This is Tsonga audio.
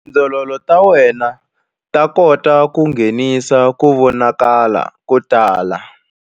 Tindzololo ta wena ta kula ku nghenisa ku vonakala ko tala.